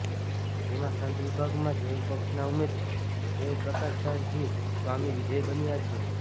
જેમાં સંત વિભાગમાં દેવપક્ષના ઉમેદવાર દેવપ્રકાશદાસજી સ્વામી વિજય બન્યા છે